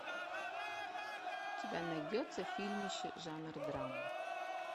у тебя найдется фильмище жанр драма